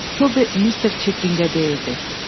Tobi Mister Çitlinqə deyirdi: